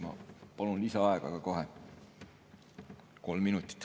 Ma palun kohe lisaaega, kolm minutit.